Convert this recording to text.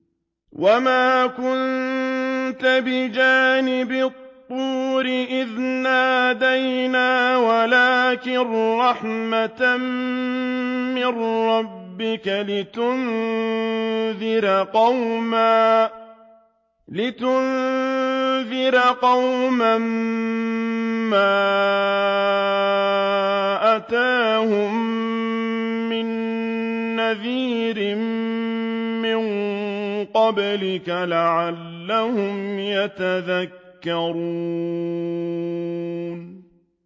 وَمَا كُنتَ بِجَانِبِ الطُّورِ إِذْ نَادَيْنَا وَلَٰكِن رَّحْمَةً مِّن رَّبِّكَ لِتُنذِرَ قَوْمًا مَّا أَتَاهُم مِّن نَّذِيرٍ مِّن قَبْلِكَ لَعَلَّهُمْ يَتَذَكَّرُونَ